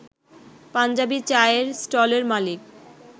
পাঞ্জাবি চায়ের স্টলের মালিক